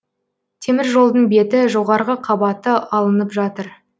теміржолдың беті жоғарғы қабаты алынып жатыр